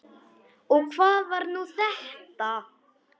Og hvað var nú þetta!